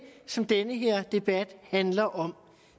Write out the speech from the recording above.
som den her debat handler om